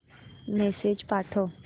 message पाठव